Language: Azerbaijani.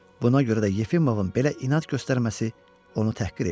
Buna görə də Yefimovun belə inad göstərməsi onu təhqir eləyir.